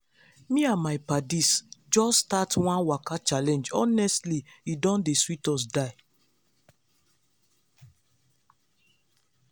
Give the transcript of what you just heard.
me and my paddies just start one waka challenge honestly e don dey sweet us die.